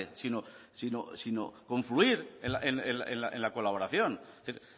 sino confluir en la colaboración es decir